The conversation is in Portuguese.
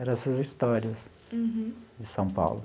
Era essas histórias. Uhum. De São Paulo.